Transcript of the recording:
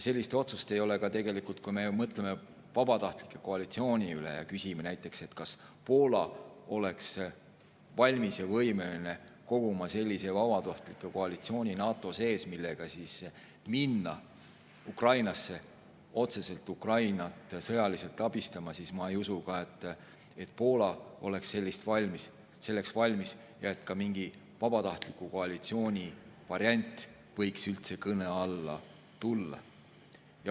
Kui me mõtleme vabatahtlike koalitsiooni peale ja küsime näiteks, kas Poola oleks valmis ja võimeline koguma sellise vabatahtlike koalitsiooni NATO sees, millega minna Ukrainasse otseselt sõjaliselt abistama, siis mina ei usu, et Poola oleks selleks valmis ja et ka mingi vabatahtlike koalitsiooni variant võiks üldse kõne alla tulla.